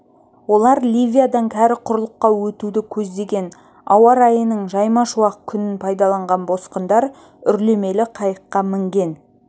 олар ливиядан кәрі құрлыққа өтуді көздеген ауа райының жайма шуақ күнін пайдаланған босқындар үрлемелі қайыққа мінген